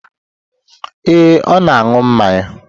Ee, ọ na-aṅụ mmanya.